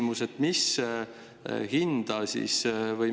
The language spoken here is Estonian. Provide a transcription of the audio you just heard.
Mul on selline küsimus.